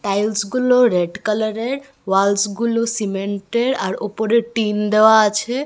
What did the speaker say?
টাইলসগুলো red কালারের আর walls গুলো সিমেন্টের আর ওপরে টিন দেওয়া আছে।